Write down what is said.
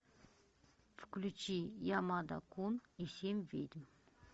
включи ямада кун и семь ведьм